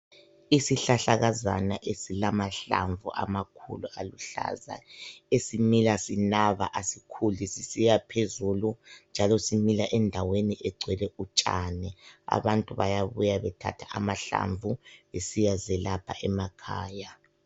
isihlahlakazana esilamahlamvu amakhulu aluhlaza esimila sinaba asikhuli sisiyaphezulu njalo simila endaweni egcwele utshani abantu bayabuya bethatha amalamvu besiya zelapha emakhaya